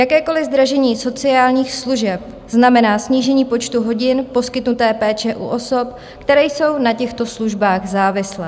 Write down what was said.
Jakékoliv zdražení sociálních služeb znamená snížení počtu hodin poskytnuté péče u osob, které jsou na těchto službách závislé.